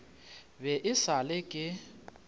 be e sa le ke